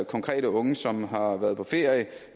konkrete unge som har været på ferie